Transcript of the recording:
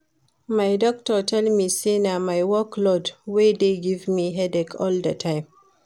My doctor tell me say na my work load wey dey give me headache all the time